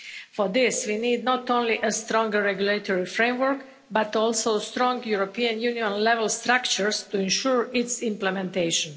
For this, we need not only a stronger regulatory framework but also strong European Union level structures to ensure its implementation.